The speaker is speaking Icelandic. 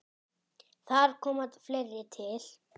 Þar komi fleira til.